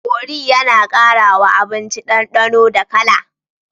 Kori yAna kara wa abinci dan danonda kala